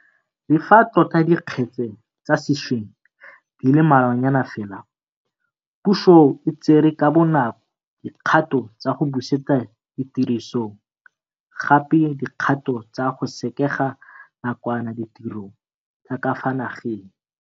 Le fa tota dikgetse tsa sešweng di le mmalwanyana fela, puso e tsere ka bonako dikgato tsa go busetsa tirisong gape dikgato tsa go sekega nakwana ditiro tsa ka fa nageng.